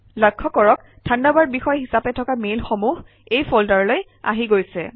লক্ষ্য কৰক থাণ্ডাৰবাৰ্ড বিষয় হিচাপে থকা মেইলসমূহ এই ফল্ডাৰলৈ আহি গৈছে